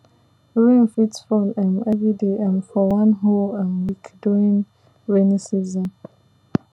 rain fit fall um every day um for one whole um week during rainy season